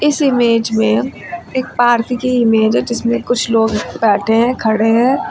इस इमेज में एक पार्क की इमेज है जिसमें कुछ लोग बैठे हैं खड़े हैं।